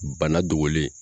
Bana dogolen